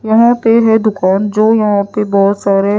यहां पे है दुकान जो यहां पे बहोत सारे--